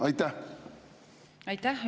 Aitäh!